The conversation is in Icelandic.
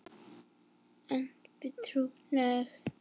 Einvíð túlkun